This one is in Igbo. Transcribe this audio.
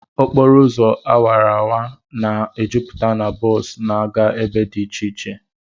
Okporo ụzọ awara awara na-ejupụta na bọs na-aga ebe dị iche iche